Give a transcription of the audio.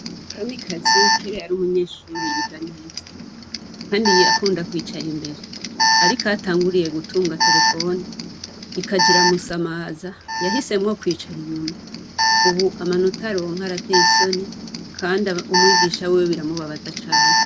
Kamikaze ,kera yari umunyeshure yiga neza kandi yakunda kwicara imbere. Ariko aho atanguriye gutunga terefone, ikaja iramusamaza, yahisemwo kwicara inyuma. Ubu amanota aronka arateye isoni, kandi umwigisha wiwe biramubabaza cane.